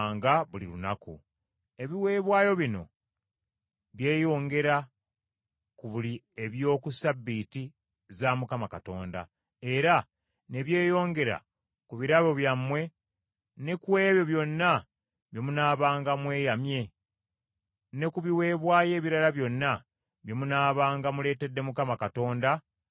Ebiweebwayo bino byeyongera ku biri eby’oku Ssabbiiti za Mukama Katonda, era ne byeyongera ku birabo byammwe ne ku ebyo byonna bye munaabanga mweyamye, ne ku biweebwayo ebirala byonna bye munaabanga muleetedde Mukama Katonda nga mweyagalidde.